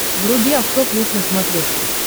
вруби авто плюс на смотрешке